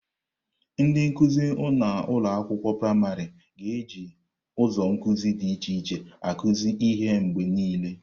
Ndị nkuzi na ụlọ akwụkwọ praịmarị ga-eji ụzọ nkuzi dị iche iche akuzu ihe mgbe niile.